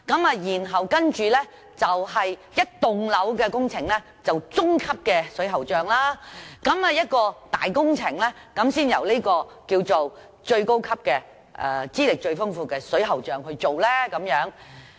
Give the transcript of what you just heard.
至於整幢樓宇的工程，則由中級水喉匠負責；而一些大工程，才由最高級、資歷最豐富的水喉匠負責。